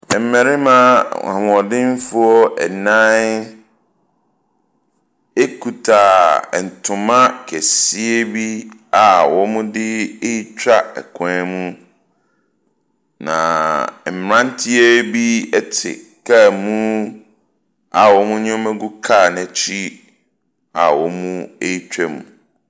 Mmarima ahoɔdenfoɔ nnan kuta ntoma kɛseɛ bi, a wɔde retwa kwan mu, na mmeranteɛ bi te kaa mu, a wɔn nneɛma gu kaa no akyi a wɔretwam.